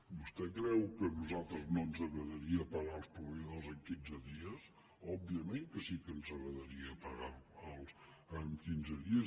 vostè creu que a nosaltres no ens agradaria pagar els proveïdors en quinze dies òbviament que sí que ens agradaria pagar los en quinze dies